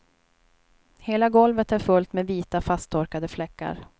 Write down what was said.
Hela golvet är fullt med vita fasttorkade fläckar.